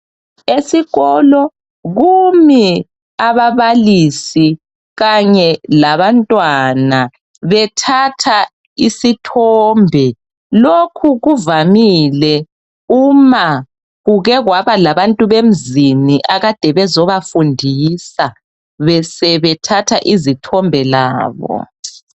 Esikolo kumi ababalisi Kanye labantwana bethatha isithombe lokhu kuvamile uma kuke kwaba labantu bemzini ade bezobafundisa besebethatha izithombe labo